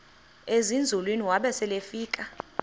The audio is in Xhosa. ezinzulwini waba selefika